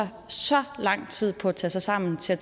så lang tid på at tage sig sammen til at